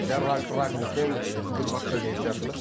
Belə deyək də, Ralf Raqnikin bir başqa versiyasıdır.